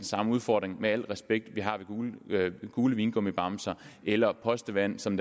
samme udfordring med al respekt med gule vingummibamser eller postevand som